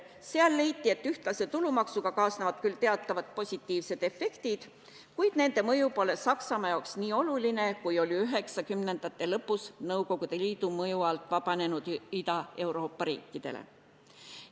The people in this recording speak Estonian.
Seal leiti, et ühtlase tulumaksuga kaasnevad küll teatavad positiivsed efektid, kuid nende mõju pole Saksamaale nii oluline, kui oli 1990-ndate lõpus Nõukogude Liidu mõju alt vabanenud Ida-Euroopa riikidele.